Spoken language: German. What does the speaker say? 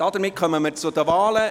Somit kommen wir zu den Wahlen.